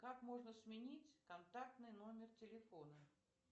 как можно сменить контактный номер телефона